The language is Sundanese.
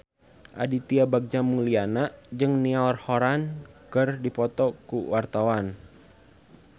Aditya Bagja Mulyana jeung Niall Horran keur dipoto ku wartawan